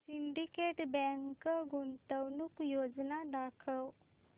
Syndicate bank गुंतवणूक योजना दाखव